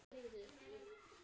Hvað get ég gert betur?